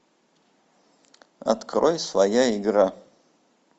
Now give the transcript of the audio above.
открой своя игра